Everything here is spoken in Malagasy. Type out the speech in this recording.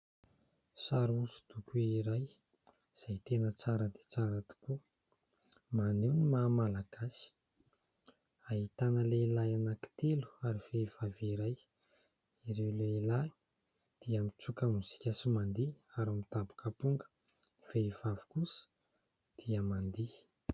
Sary oso-doko iray izay tena tsara dia tsara tokoa, maneho ny mahamalagasy; ahitana lehilahy anankitelo ary vehivavy iray, ireo lehilahy dia mitsoka mozika sy mandihy ary midaboka aponga, ny vehivavy kosa dia mandihy.